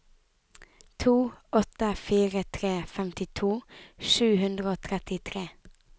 to åtte fire tre femtito sju hundre og trettitre